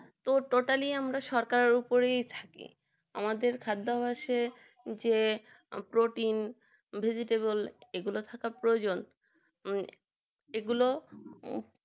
তো Totally আমরা সরকারের উপরেই থাকি আমাদের খাদ্যাভাসে যে প্রোটিন Vegetable এগুলো থাকা প্রয়োজন এগুলো